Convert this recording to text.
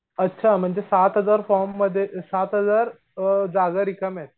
अच्छा म्हणजे सात हजार फॉर्ममध्ये सात हजार अअ जागा रिकाम्यायेत.